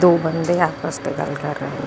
ਦੋ ਬੱਚੇ ਆਪਸ ਚ ਗੱਲ ਕਰ ਰਹੇ।